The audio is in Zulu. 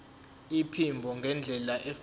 iphimbo ngendlela efanele